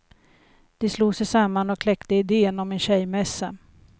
De slog sig samman och kläckte idén om en tjejmässa.